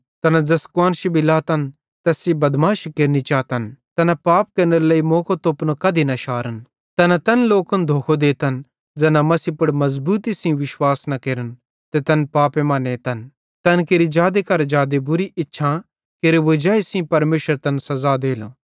तैना ज़ैस कुआन्शी भी लहतन तैस सेइं बदमाशी केरनि चातन तैना पाप केरने लेइ मौके तोपने कधी न शारन तैना तैन लोकन धोखो देतन ज़ैना मसीह पुड़ मज़बूती सेइं विश्वास न केरन ते तैन पापे मां नेतन तैन केरि जादे करां जादे बुरी इच्छां केरे वजाई सेइं परमेशर तैन सज़ा देलो